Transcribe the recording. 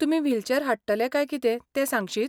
तुमी व्हीलचॅर हाडटले काय कितें तें सांगशीत?